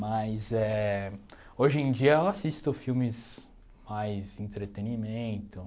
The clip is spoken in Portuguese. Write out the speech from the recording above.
Mas eh hoje em dia eu assisto filmes mais entretenimento.